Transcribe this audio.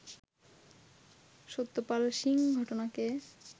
সত্যপাল সিং ঘটনাকে